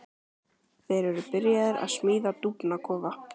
Þeir eru byrjaðir að smíða dúfnakofa.